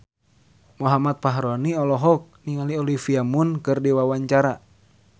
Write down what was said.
Muhammad Fachroni olohok ningali Olivia Munn keur diwawancara